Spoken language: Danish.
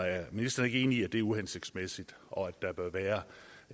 er ministeren ikke enig i at det er uhensigtsmæssigt og at der bør være